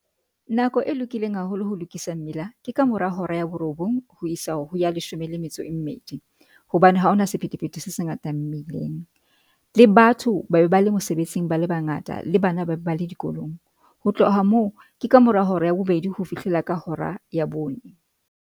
Nako e lokileng haholo ho lokisa mmila ke ka mora hora ya borobong ho isa ho ya leshome le metso e mmedi, hobane ha hona sephethephethe se se ngata mmileng le batho ba e ba le mosebetsing bale bangata, le bana ba le dikolong. Ho tloha moo, ke ka mora hora ya bobedi ho fihlela ka hora ya bone.